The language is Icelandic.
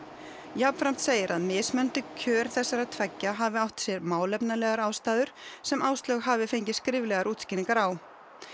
jafnframt segir að mismunandi kjör þessara tveggja hafi átt sér málefnalegar ástæður sem Áslaug hafi fengið skriflegar útskýringar á